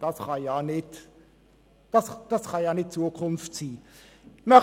Das kann nicht Zukunft sein!